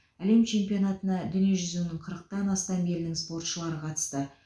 әлем чемпионатына дүниежүзінің қырықтан астам елінің спортшылары қатысты